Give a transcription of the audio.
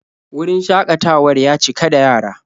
Wurin shakatawar ya cika da yara.